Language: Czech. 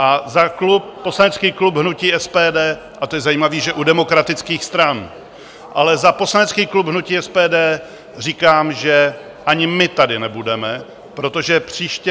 A za poslanecký klub hnutí SPD - a to je zajímavé, že u demokratických stran - ale za poslanecký klub hnutí SPD říkám, že ani my tady nebudeme, protože příště...